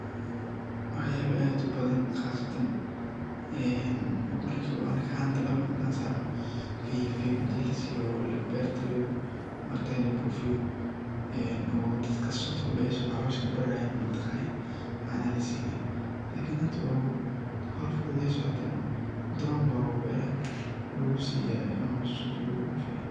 Waxyalo aad u badan , qasatan dhulka marki anaga ahan dabarka ini lasaro oo lalosha kabararayen oo canaha lasinaye. Lakin tani hada waa howl fududeys waa tan oo inu rob camal aya sunta lagu siyaa.